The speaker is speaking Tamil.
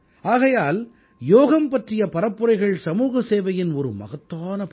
ஆகையால் யோகம் பற்றிய பரப்புரைகள் சமூகசேவையின் ஒரு மகத்தான பணி